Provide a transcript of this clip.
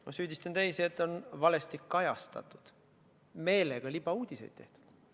Ma süüdistan teisi, et on valesti kajastatud, meelega libauudiseid tehtud.